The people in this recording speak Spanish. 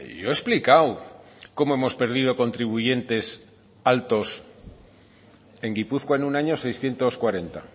yo he explicado cómo hemos perdido contribuyentes altos en gipuzkoa en un año seiscientos cuarenta